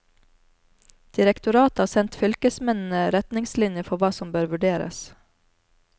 Direktoratet har sendt fylkesmennene retningslinjer for hva som bør vurderes.